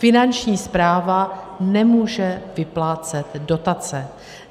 Finanční správa nemůže vyplácet dotace.